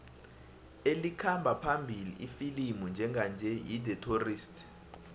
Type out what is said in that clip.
elikhamba phambili ifilimu njenganje yi the tourist